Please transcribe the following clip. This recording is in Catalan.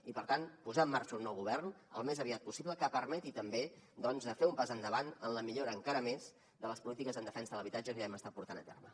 i per tant posar en marxa un nou govern al més aviat possible que permeti també fer un pas endavant en la millora encara més de les polítiques en defensa de l’habitatge que ja hem estat portant a terme